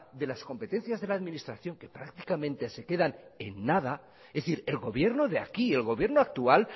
de las competencias de la administración que prácticamente se quedan en nada es decir el gobierno de aquí el gobierno actual